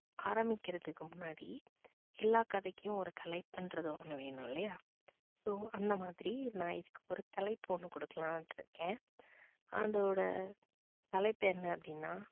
ஆரம்பிக்கிறதுக்கு முன்னாடி எல்லா கதைக்கும் ஒரு தலைப்புனுறது ஒன்னு வேணும் இல்லையா so அந்த மாதிரி நான் இதுக்கு ஒரு தலைப்பு ஒன்னு கொடுக்கலாம்னு இருக்கேன் அதோட தலைப்பு என்ன அப்படின்னா